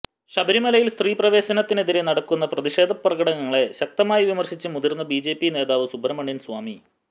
ശബരിമലയിൽ സ്ത്രീപ്രവേശനത്തിനെതിരേ നടക്കുന്ന പ്രതിഷേധ പ്രകടനങ്ങളെ ശക്തമായി വിമർശിച്ച് മുതിർന്ന ബി ജെ പി നേതാബ് സുബ്രഹ്മണ്യൻ സ്വാമി